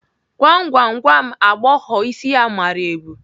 Gwam gwam, gwa m agbọghọ isi ya mara ebu?